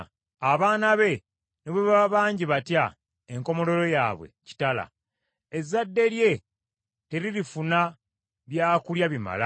Abaana be ne bwe baba bangi batya, enkomerero yaabwe kitala; ezzadde lye teririfuna byakulya bibamala.